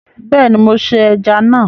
Beeni mo se eja na